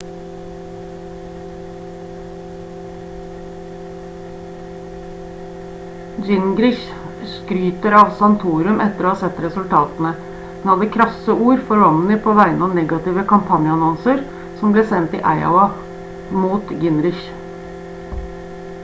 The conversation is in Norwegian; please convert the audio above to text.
gingrich skryter av santorum etter å ha sett resultatene men hadde krasse ord for romney på vegne av negative kampanjeannonser som ble sendt i iowa mot gingrich